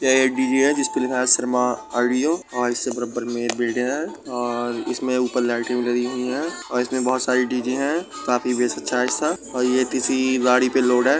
यह एक डी.जे है। इस पर लिखा है शर्मा ऑडियो इससे बराबर में एक बिल्डिंग है और इसमें ऊपर लाइटिंग भी लगी हुई है। इसमें बहुत सारे डी.जे हैं। डी.जे का बेस काफी अच्छा है या किसी गाड़ी पर लोड है।